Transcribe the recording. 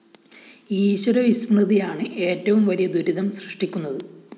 ഈശ്വര വിസ്മൃതിയാണ് ഏറ്റവും വലിയ ദുരിതം സൃഷ്ടിക്കുന്നത്